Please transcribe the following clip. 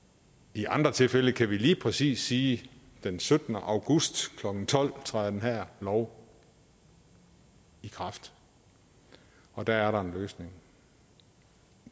i andre tilfælde kan vi lige præcis sige den syttende august klokken tolv træder den her lov i kraft og der er der en løsning